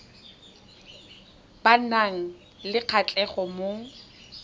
ba nang le kgatlhego mo